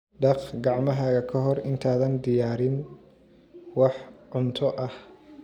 Dhaq gacmahaaga ka hor intaadan diyaarin wax cunto ah.